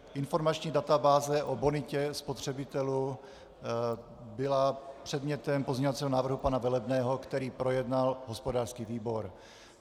Informační databáze o bonitě spotřebitelů byla předmětem pozměňovacího návrhu pana Velebného, který projednal hospodářský výbor.